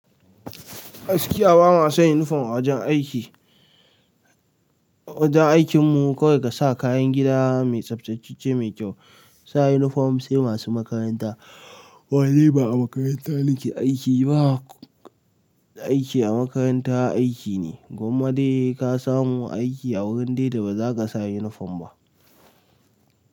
Gaskiya ba ma son uniform a wajen aiki. A wajen aikin mu kawai ka sa kayan gida mai tsaftace mai kyau, sa uniform sai masu makaranta. Kuma niba a makaranta nake aiki ba aiki a makaranta aiki ne, gwamma dai ka samu aiki a wurin daida ba za ka sa uniform ba.